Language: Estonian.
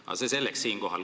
Aga see selleks.